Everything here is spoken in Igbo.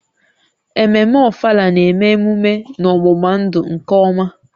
Ememme Ofala na-eme emume n'ọgbụgba-ndụ nke ọma